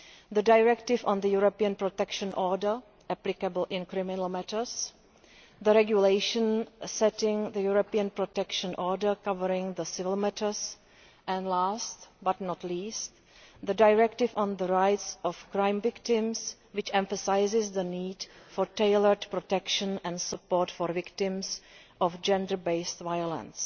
the Directive on the European Protection Order applicable in criminal matters, the regulation setting the European Protection Order and last but not least, the Directive on the rights of crime victims, which emphasises the need for tailored protection and support for victims of gender based violence.